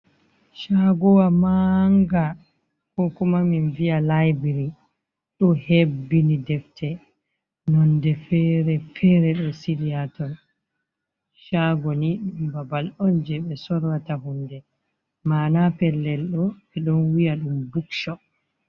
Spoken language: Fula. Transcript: Shagowa manga ko kuma min viya laibry, ɗo hebbini defte nonde fere fere ɗo sili ha ton, chago ni ɗum babal on je ɓe sorrata hunde, mana pellel ɗo ɓe ɗon wiya ɗum buk shop.